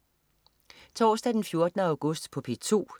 Torsdag den 14. august - P2: